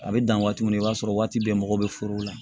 A bɛ dan waati min na i b'a sɔrɔ waati bɛɛ mɔgɔ bɛ foro la